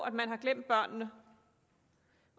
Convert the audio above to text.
at man har glemt børnene